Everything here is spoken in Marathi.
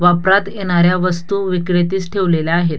वापरात येणाऱ्या वस्तु विक्रेतीस ठेवलेल्या आहेत.